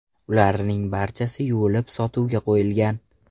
Ularning barchasi yuvilib, sotuvga qo‘yilgan.